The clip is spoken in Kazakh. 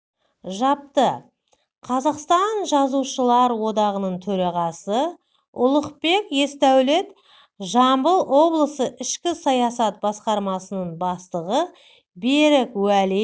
жапты қазақстан жазушылар одағының төрағасы ұлықбек есдәулет жамбыл облысы ішкі саясат басқармасының бастығы берік уәли